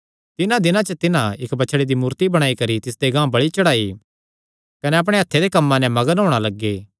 तिन्हां दिनां च तिन्हां इक्क बछड़े दी मूर्ति बणाई करी तिसदे गांह बल़ि चढ़ाई कने अपणे हत्थे दे कम्मां नैं मग्न होणा लग्गे